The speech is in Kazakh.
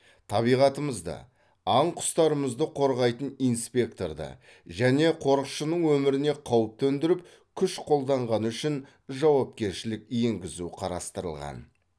табиғатымызды аң құстарымызды қорғайтын инспекторды және қорықшының өміріне қауіп төндіріп күш қолданғаны үшін жауапкершілік енгізу қарастырылған